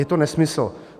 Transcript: Je to nesmysl.